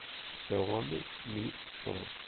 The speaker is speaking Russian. ксяоми ми стор